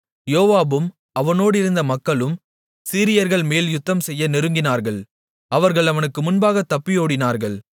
யோவாபும் அவனோடிருந்த மக்களும் சீரியர்கள்மேல் யுத்தம்செய்ய நெருங்கினார்கள் அவர்கள் அவனுக்கு முன்பாகத் தப்பியோடினார்கள்